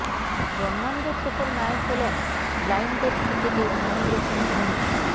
জন্মান্ধ শেখর নায়েক হলেন ব্লাইন্ডদের ক্রিকেটে মহেন্দ্র সিং ধোনি